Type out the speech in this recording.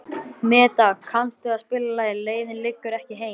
Meda, kanntu að spila lagið „Leiðin liggur ekki heim“?